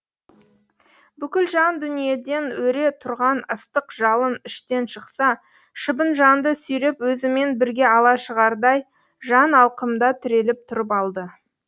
бүкіл жан дүниеден өре тұрған ыстық жалын іштен шықса шыбын жанды сүйреп өзімен бірге ала шығардай жан алқымда тіреліп тұрып алды